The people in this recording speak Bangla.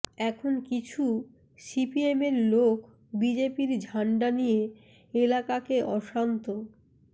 এখন কিছু সিপিএমের লোক বিজেপির ঝান্ডা নিয়ে এলাকাকে অশান্ত